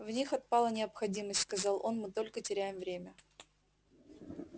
в них отпала необходимость сказал он мы только теряем время